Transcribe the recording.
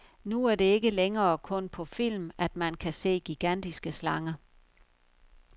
Nu er det ikke længere kun på film, at man kan se gigantiske slanger.